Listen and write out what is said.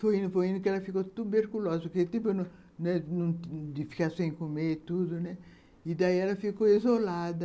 Foi indo que ela ficou tuberculosa, porque teve tempo de ficar sem comer e tudo, e daí ela ficou isolada.